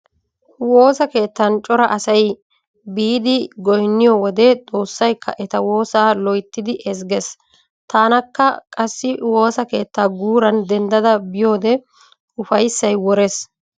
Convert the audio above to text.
Woosa keettan cora asay biidi goynniyo wode xoossaykka eta woosaa loyttidi ezgees. Tanakka qassi woosa keettaa guuran dendda biyode ufayssay worees.